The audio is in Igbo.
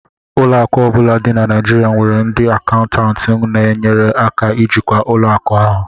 Ụlọ akụ ọ bụla dị na Naijirịa nwere ndị akaụntantị na-enyere aka ijikwa ụlọ akụ ahụ